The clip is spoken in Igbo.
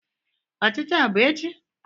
Ochichi a bu echi?